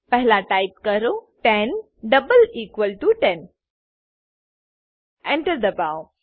પહેલા ટાઈપ કરો 10 double equal to 10 Enter દબાઓ